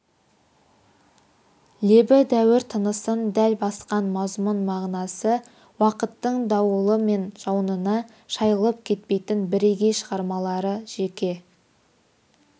лебі дәуір тынысын дәл басқан мазмұн-мағынасы уақыттың дауылы мен жауынына шайылып кетпейтін бірегей шығармалары жеке